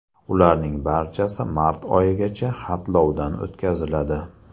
Ularning barchasi mart oyigacha xatlovdan o‘tkaziladi.